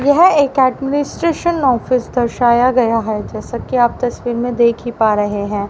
यह एक administration office दर्शाया गया है जैसा कि आप तस्वीर में देखा ही पा रहे हैं।